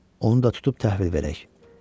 Onu da tutub təhvil verək.